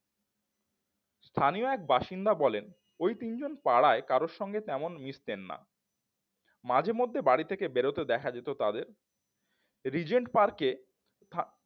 স্থানীয় এক বাসিন্দা বলেন ওই তিনজন পাড়ায় কারো সঙ্গে তেমন মিসতেন না মাঝেমধ্যে বাড়ি থেকে বেড়াতে দেখা যেত তাদের রিজেন্ট পার্কে